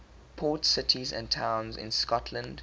port cities and towns in scotland